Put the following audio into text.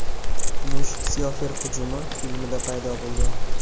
Kumush Syorfer hujumi” filmida paydo bo‘lgan.